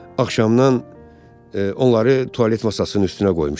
Axşamdan onları tualet masasının üstünə qoymuşam.